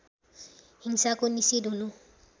हिंसाको निषेध हुनु